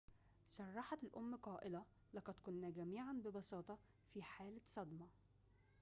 صرحت الأم قائلةً لقد كنا جميعاً ببساطة في حالة صدمة